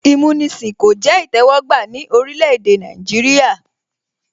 Ìmúnisìn kò jẹ́ ìtẹ́wọ́gbà ní orílẹ̀ èdè Nàìjíríà